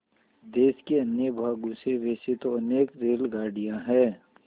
देश के अन्य भागों से वैसे तो अनेक रेलगाड़ियाँ हैं